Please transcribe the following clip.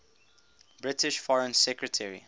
british foreign secretary